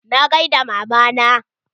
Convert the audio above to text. Na gaida mama na.